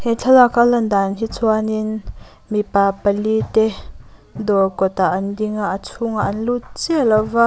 he thlalak a a lan dan hi chuanin mipa pali te dawr kawtah an dinga a chhung ah an lut chiah lova.